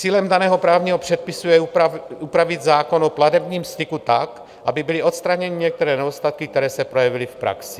Cílem daného právního předpisu je upravit zákon o platebním styku tak, aby byly odstraněny některé nedostatky, které se projevily v praxi.